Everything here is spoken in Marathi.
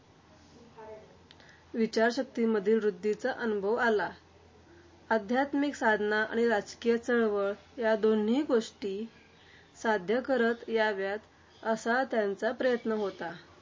विचारशक्तीमधील वृद्धीचा अनुभव आला. आध्यात्मिक साधना आणि राजकीय चळवळ या दोन्ही गोष्टी साध्य करता याव्यात असा त्यांचा प्रयत्न होता.